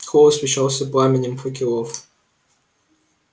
холл освещался пламенем факелов